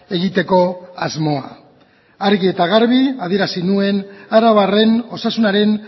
egiteko asmoa argi eta garbi adierazi nuen arabarren osasunaren